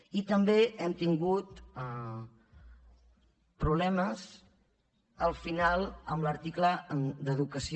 i també hem tingut problemes al final amb l’article d’educació